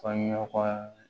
Fɔɲɔgɔnkɔ